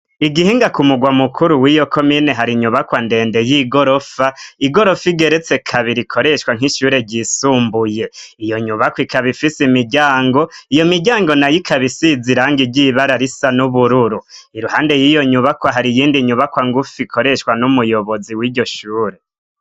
Igihinga ku mugwa mukuru w'iyoko mine hari inyubakwa ndende y'igorofa igorofa igeretse kabi r ikoreshwa nk'ishure ryisumbuye iyo nyubako ikaba ifise imiryango iyo miryango na y'ikabisiziranga iryibara risa n'ubururu iruhande y'iyo nyubakwa hari iyindi nyubakwa ngufi ikoreshwa n'umuyobozi w'iryo shure.